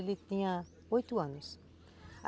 Ele tinha oito anos.